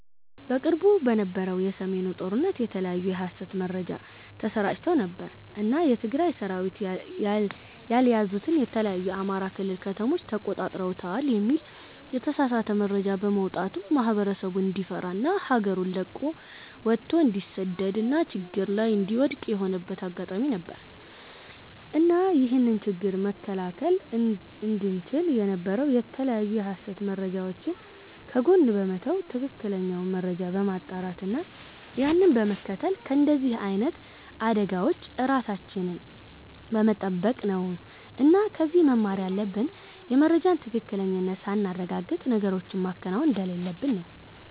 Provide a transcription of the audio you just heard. በቅርቡ በነበረው የ ሰሜኑ ጦርነት የተለያዩ የ ሀሰት መረጃ ተሰራጭተው ነበር እና የ ትግራይ ሰራዊት ያልያዙትን የተለያዩ የ አማራ ክልል ከተሞችን ተቆጣጥረውታል የሚል የተሳሳተ መረጃ በመውጣቱ ማህበረሰቡ እንዲፈራ እና ሀገሩን ለቆ ወቶ እንዲሰደድ እና ችግር ላይ እንዲወድክቅ የሆነበት አጋጣሚ ነበር። እና ይህንን ችግር መከላከል እንቺል የነበረው የተለያዩ የሀሰት መረጃወችን ከጎን በመተው ትክክለኛውን መረጃ በማጣራት እና ያንን በመከተል ከንደዚህ አይነት አደጋወች ራሳችንን በመተበቅ ነው እና ከዚህ መማር ያለብን የመረጃን ትክክለኝነት ሳናረጋግጥ ነገሮችን ማከናወን እንደሌለብን ነው